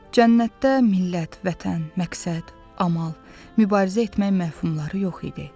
Cənnətdə millət, vətən, məqsəd, amal, mübarizə etmək məfhumları yox idi.